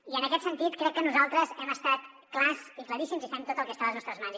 i en aquest sentit crec que nosaltres hem estat clars i claríssims i fem tot el que està a les nostres mans